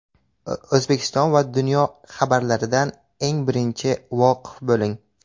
O‘zbekiston va dunyo xabarlaridan eng birinchi voqif bo‘ling.